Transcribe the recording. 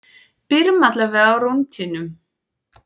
Byrjum allavega á rúntinum.